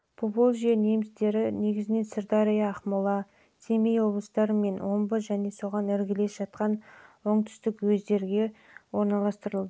поволжье немістері негізінен сырдария ақмола семей облыстары мен омбы және соған іргелес жатқан уездерге ал оңтүстік